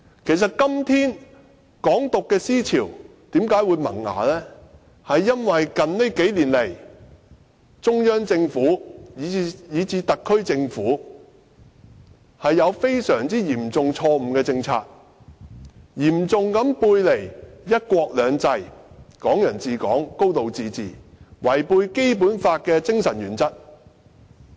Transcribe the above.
其實，"港獨"思潮之所以在今天萌芽，是因為中央政府以至特區政府在這數年推出了一些嚴重錯誤的政策，嚴重背離"一國兩制"、"港人自港"和"高度自治"的原則，以及違背《基本法》的精神。